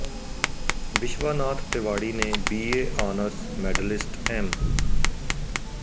ਵਿਸ਼ਵਾਨਾਥ ਤਿਵਾੜੀ ਨੇ B A honours medalist M